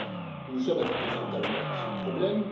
Nous nous sommes attaqués frontalement à ce problème.